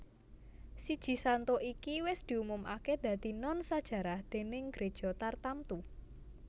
Siji Santo iki wis diumumaké dadi non sajarah déning gréja tartamtu